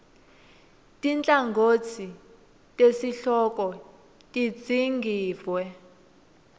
tinhlangotsi tesihloko tidzingidvwe